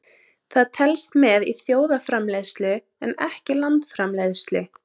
Það telst með í þjóðarframleiðslu en ekki landsframleiðslu.